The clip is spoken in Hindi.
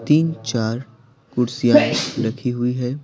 तीन चार कुर्सियां रखी हुई है।